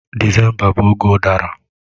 Disemba bụ oge udara.